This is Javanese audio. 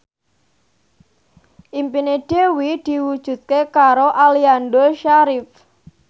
impine Dewi diwujudke karo Aliando Syarif